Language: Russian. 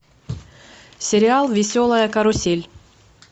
сериал веселая карусель